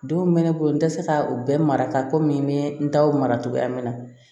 Denw bɛ ne bolo n tɛ se ka u bɛɛ marata komi n bɛ n taw mara cogoya min na